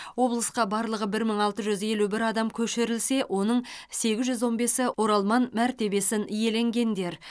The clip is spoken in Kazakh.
облысқа барлығы бір мың алты жүз елу бір адам көшірілсе оның сегіз жүз он бесі оралман мәртебесін иеленгендер